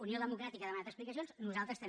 unió democràtica ha demanat explicacions nosaltres també